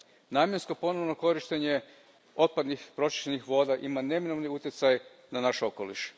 Namjensko ponovno korištenje otpadnih pročišćenih voda ima neminovni utjecaj na naš okoliš.